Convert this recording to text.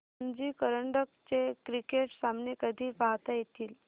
रणजी करंडक चे क्रिकेट सामने कधी पाहता येतील